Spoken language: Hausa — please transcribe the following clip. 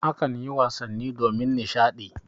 A kanyi wasanni domin nishaɗi.